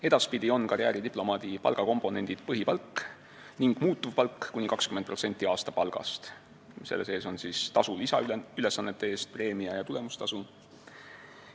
Edaspidi on karjääridiplomaadi palgakomponendid põhipalk ja muutuvpalk kuni 20% aastapalgast – selle sees on tasu lisaülesannete eest, preemia ja tulemustasu.